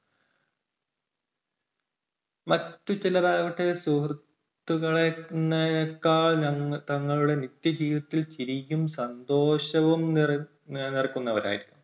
മറ്റുചിലർ ആവട്ടെ സുഹൃത്തുക്കളേ~ളേക്കാൾ തങ്ങളുടെ വ്യക്തിജീവിതത്തിൽ ചിരിയും സന്തോഷവും നിറഞ്ഞുനിൽക്കുന്നവർ ആയിരിക്കാം.